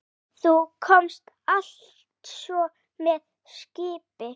Þú komst altso með skipi?